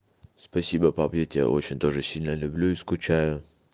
спасибо пап я тебя очень тоже сильно люблю и скучаю